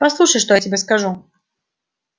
послушай что я тебе скажу